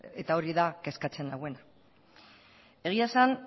eta hori da kezkatzen nauena egia esan